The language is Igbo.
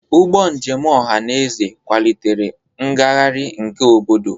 Ụgbọ njem ọhaneze kwalitere ngagharị nke obodo.